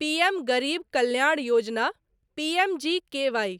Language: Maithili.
पीएम गरीब कल्याण योजना पीएमजीकेवाई